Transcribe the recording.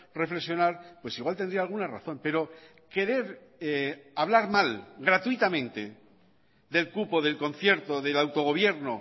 reflexionar pues igual tendría alguna razón pero querer hablar mal gratuitamente del cupo del concierto del autogobierno